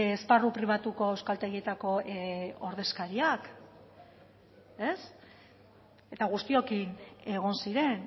esparru pribatuko euskaltegietako ordezkariak eta guztiokin egon ziren